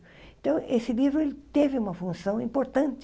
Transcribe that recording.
Então, esse livro, ele teve uma função importante.